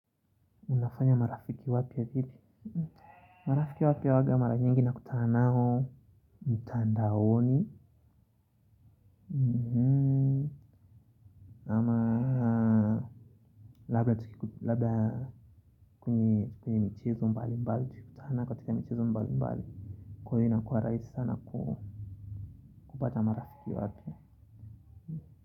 Unafanya marafiki wapya hipi? Marafiki wapya huaga mara nyingi nakutana nao mtandaoni. Labla tukiku labla kwenye mchezo mbalimbali tukikutana katika michezo mbali mbali. Kwa hiyo inakuwa rahisi sana kupata marafiki wapya.